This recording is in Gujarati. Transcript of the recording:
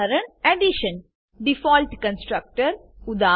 Addition default constructor default constructor ઉદા